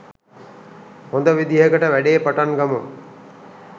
හොඳ විදිහකට වැඩේ පටන් ගමු.